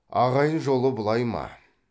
ағайын жолы бұлай ма